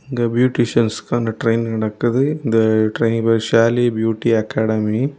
இங்க பியூட்டிஷியன்ஸ்க்கான ட்ரெயினிங் நடக்குது. இந்த ட்ரெயினிங் பேரு ஷேலி பியூட்டி அகாடமி .